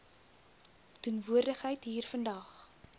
teenwoordigheid hier vandag